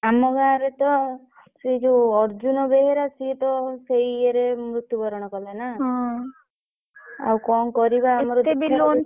ଆମ ଗାଁ ରେ ତ ସେ ଯୋଉ ଅର୍ଜୁନ ବେହେରା ସିଏ ତ ସେଇ ଇଏରେ ମୃତ୍ଯୁ ବରଣ କଲା ନା ଆଉ କଣ କରିବା ଆମର